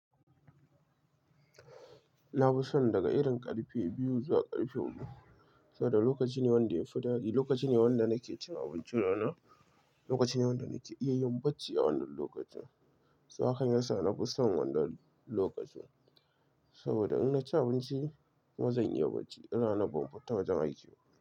Na fi son daga irin ƙarfe biyu zuwa ƙarfe huɗu. Saboda lokaci ne wanda ya fi daɗi, lokaci ne wanda nake cin abincina, lokaci ne wanda nake iya yin bacci a wannan lokacin. Saboda haka yana sa na fi son wannan lokacin. Saboda in na ci abinci kuma zan iya bacci in ranar ban fita wajen aiki ba.